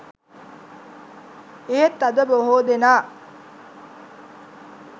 එහෙත් අද බොහෝ දෙනා